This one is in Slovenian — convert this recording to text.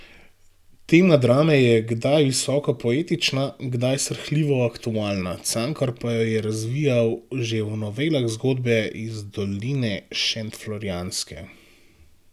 Tema drame je kdaj visoko poetična, kdaj srhljivo aktualna, Cankar pa jo je razvijal že v novelah Zgodbe iz doline šentflorjanske.